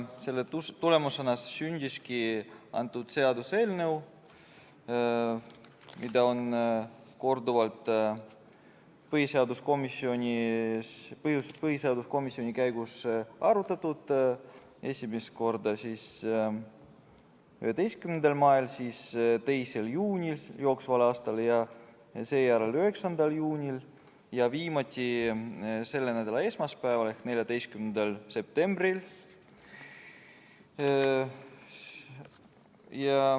Selle tulemusena sündiski seaduseelnõu, mida on korduvalt põhiseaduskomisjonis arutatud, esimest korda 11. mail, siis 2. juunil ja seejärel 9. juunil ning viimati selle nädala esmaspäeval, 14. septembril.